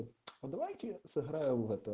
а давайте сыграем в это